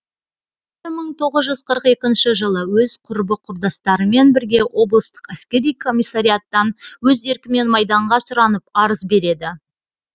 бір мың тоғыз жүз қырық екінші жылы өз құрбы құрдастарымен бірге облыстық әскери комиссариаттан өз еркімен майданға сұранып арыз береді